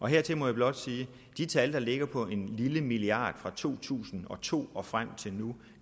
hertil må jeg blot sige at de tal der ligger på en lille milliard kroner fra to tusind og to og frem til nu